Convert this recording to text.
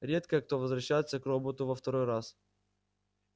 редко кто возвращается к роботу во второй раз